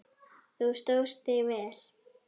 Þú stóðst þig vel.